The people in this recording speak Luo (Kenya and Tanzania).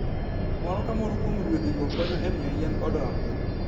Moro ka moro kuom ruedhigo konyo e miyo yien odongi.